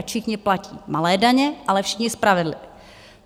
Ať všichni platí malé daně, ale všichni spravedlivě.